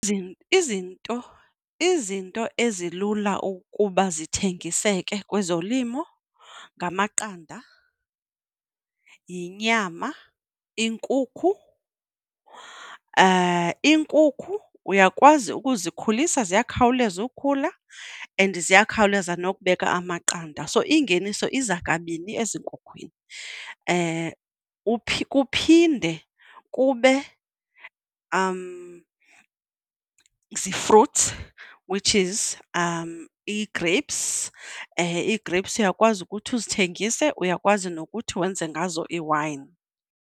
Izinto izinto ezilula ukuba zithengiseke kwezolimo ngamaqanda, yinyama, inkukhu. Iinkukhu uyakwazi ukuzikhulisa, ziyakhawuleza ukhula and ziyakhawuleza nokubeka amaqanda, so ingeniso iza kabini ezinkhukhwini. Kuphinde kube zii-fruits which is i-grapes. Ii-grapes uyakwazi ukuthi uzithengise, uyakwazi nokuthi wenze ngazo iwayini.